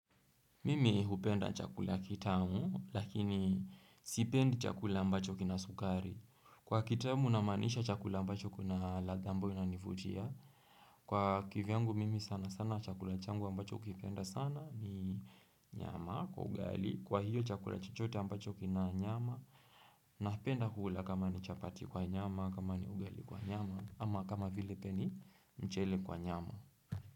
Mimi hupenda chakula kitamu, lakini sipendi chakula ambacho kina sukari. Kwa kitamu namaanisha chakula ambacho kuna ladha ambayo inanivutia. Kwa kivyangu, mimi sana sana chakula changu ambacho hukipenda sana ni nyama kwa ugali. Kwa hiyo chakula chochote ambacho kina nyama. Napenda kula kama ni chapati kwa nyama, kama ni ugali kwa nyama, ama kama vile pia ni mchele kwa nyama.